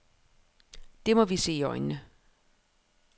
Det må vi se i øjnene.